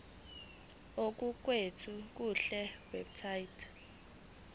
okuqukethwe kule website